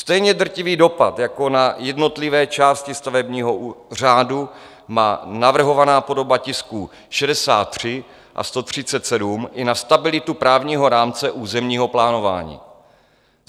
"Stejně drtivý dopad jako na jednotlivé části stavebního řádu má navrhovaná podoba tisku 63 a 137 i na stabilitu právního rámce územního plánování.